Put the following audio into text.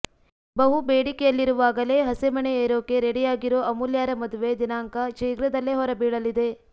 ಬಹು ಬೇಡಿಕೆಯಲ್ಲಿರುವಾಗಲೇ ಹಸೆಮಣೆ ಏರೋಕೆ ರೆಡಿಯಾಗಿರೋ ಅಮೂಲ್ಯಾರ ಮದುವೆ ದಿನಾಂಕ ಶೀಘ್ರದಲ್ಲೇ ಹೊರಬೀಳಲಿದೆ